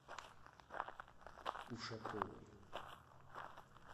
ушаковой